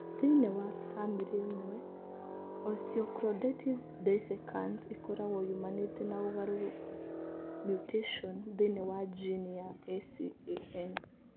Thĩinĩ wa famĩlĩ imwe, osteochondritis dissecans ĩkoragwo yumanĩte na ũgarũrũku (mutation) thĩinĩ wa jini ya ACAN.